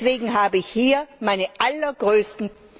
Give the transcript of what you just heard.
Deswegen habe ich hier meine allergrößten